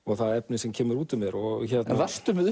það efni sem kemur út úr mér varstu með